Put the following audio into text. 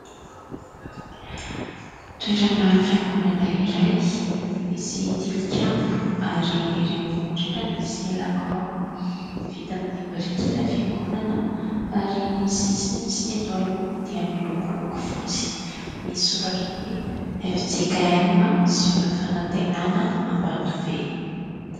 Toerana fiangonana iray misy tilikambo ary erỳ ambony indrindra misy lakroa. Vita amin'ny biriky ilay fiangonana ary ny sisiny sy ny eto aloha dia miloko loko fotsy misy soratra hoe "FJKM Ziona Fanantenana Ambatobe".